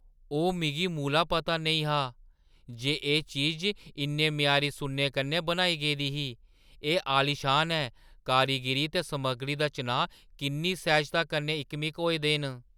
ओह्, मिगी मूला पता नेईं हा जे एह् चीज इन्ने म्यारी सुन्ने कन्नै बनाई गेदी ही। एह् आलीशान ऐ, कारीगरी ते समग्गरी दा चनांऽ किन्नी सैह्‌जता कन्नै इकमिक होए दे न।